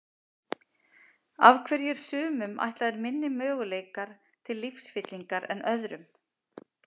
Af hverju eru sumum ætlaðir miklu minni möguleikar til lífsfyllingar en öðrum?